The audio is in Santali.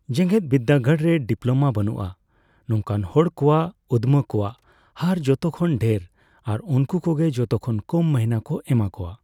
ᱡᱮᱜᱮᱫ ᱵᱤᱨᱫᱟᱹ ᱜᱟᱲᱨᱮ ᱰᱤᱯᱞᱢᱟ ᱵᱟᱱᱩᱜᱼᱟ ᱱᱚᱣᱠᱟᱱ ᱦᱚᱲ ᱠᱚᱣᱟᱜ ᱩᱫᱢᱟᱹ ᱠᱚᱣᱟᱜ ᱦᱟᱨ ᱡᱚᱛᱚ ᱠᱷᱚᱱ ᱰᱷᱮᱨ ᱟᱨ ᱩᱱᱠᱚ ᱜᱮ ᱡᱚᱛᱚ ᱠᱷᱚᱱ ᱠᱚᱢ ᱢᱟᱹᱦᱱᱟᱹ ᱠᱚ ᱮᱢᱟ ᱠᱚᱣᱟ ᱾